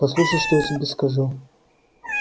послушай что я тебе скажу